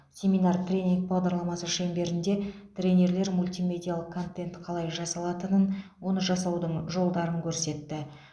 семинар тренинг бағдарламасы шеңберінде тренерлер мультимедиалық контент қалай жасалатынын оны жасаудың жолдарын көрсетті